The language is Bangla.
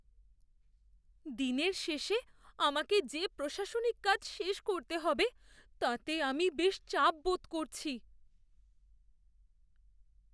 দিনের শেষে আমাকে যে প্রশাসনিক কাজ শেষ করতে হবে তাতে আমি বেশ চাপ বোধ করছি।